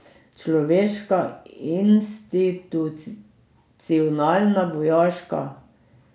Človeška, institucionalna, vojaška.